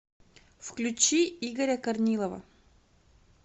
включи игоря корнилова